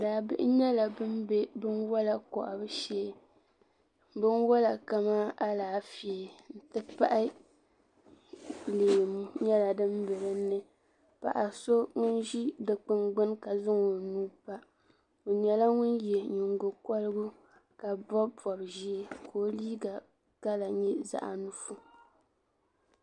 Daabihi nyɛla ban be binwala kɔhibu shee. binwala kaman alaafee n-ti pahi leemu nyala din be dini paɣiso. ŋun zi di kpini gbuni ka zaŋ onuu npa onyala ŋun ye nyingo korigu ka bɔb bɔb zɛɛ ka o liiga kala nyɛ zaɣi nuɣuso.